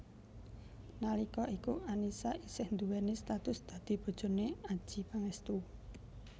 Nalika iku Annisa isih duwéni status dadi bojone Adjie Pangestu